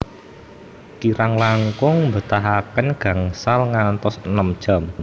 Kirang langkung mbetahaken gangsal ngantos enem jam